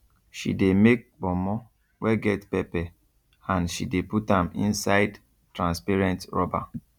she dey make ponmo wey get pepper and she de put am inside transparent rubber